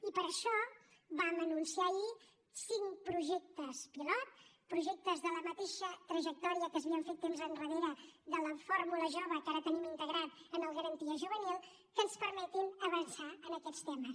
i per això vam anunciar ahir cinc projectes pilot projectes de la mateixa trajectòria que s’havia fet temps enrere de la fórmula jove que ara tenim integrada en el garantia juvenil que ens permetin avançar en aquests temes